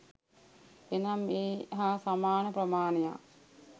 එනම් ඒ හා සමාන ප්‍රමාණයක්